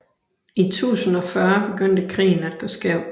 I 1040 begyndte krigen at gå skævt